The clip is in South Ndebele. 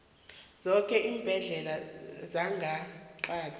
zoke iimbhedlela zangeqadi